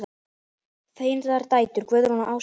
Þínar dætur, Guðrún og Ása.